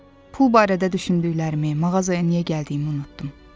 Pul barədə düşündüklərimi, mağazaya niyə gəldiyimi unutdum.